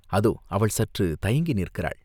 அதோ அவள் சற்றுத் தயங்கி நிற்கிறாள்.